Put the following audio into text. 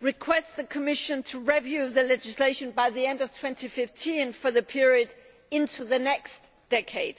requests the Commission to review the legislation by the end of 2015 for the period into the next decade.